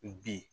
Bi